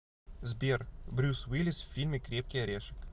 сбер брюс уиллис в фильме крепкий орешек